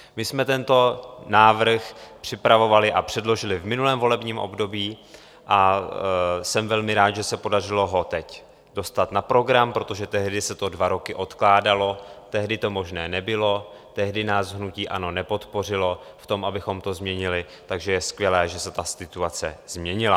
My jsme tento návrh připravovali a předložili v minulém volebním období a jsem velmi rád, že se podařilo ho teď dostat na program, protože tehdy se to dva roky odkládalo, tehdy to možné nebylo, tehdy nás hnutí ANO nepodpořilo v tom, abychom to změnili, takže je skvělé, že se ta situace změnila.